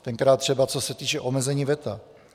Tenkrát třeba co se týče omezení veta.